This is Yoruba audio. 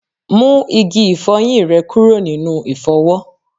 Mú igi ifoyin rẹ kúrò nínú ifowo